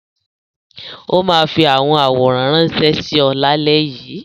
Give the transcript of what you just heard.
Ó máa fi àwọn àwòrán ránṣẹ́ sí ọ lálẹ́ yìí.